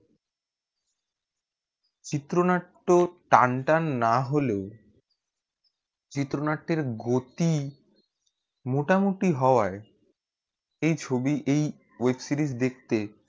চিত্র নাট্য টান টান না হলেও চিত্র নাট্য এর গতি মোটামুটি হওয়ায় এই ছবি এই web series দেখতে